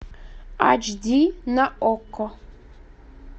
ач ди на окко